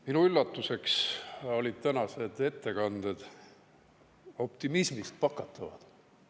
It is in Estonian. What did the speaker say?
Minu üllatuseks olid tänased ettekanded optimismist pakatavad.